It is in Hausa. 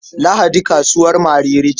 Lahadi kasuwar Mariri ce.